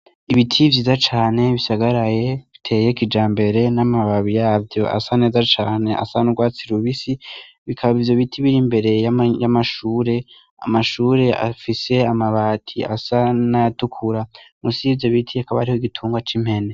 Ibiti vyiza cane bisagaraye biteye kijambere n'amababi yavyo asa neza cane, asa n'urwatsi rubisi, bikaba ivyo biti biri imbere y'amashure, amashure afise amabati asa n'ayatukura. Musi y'ivyo biti hakaba hariho igitungwa c'impene.